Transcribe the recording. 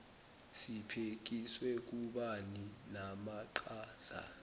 sibhekiswe kubani namaqhaza